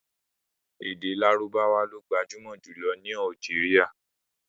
Èdè Lárúbáwá lo gbajúmọ̀ jùlọ ní Algeria.